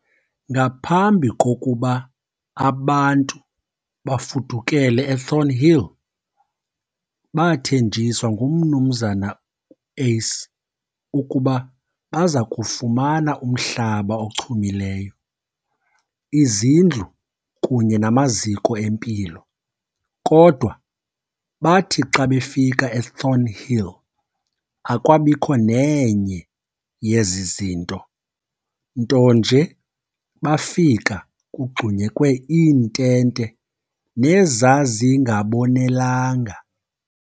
Ngaphambi kokuba abantu bafudukele eThornhill bathenjiswa nguMnu Uys ukuba bazakufumana umhlaba ochumilyo, izindlu kunye namaziko empilo, kodwa bathi xa befika eThornhill akwabikho nenye yezizinto, nto nje bafika kugxunyekwe iintente nezazingabonelanga.